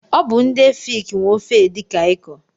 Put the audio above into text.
Ọ bụ ndị efik nwe ofe edi Kai kọ.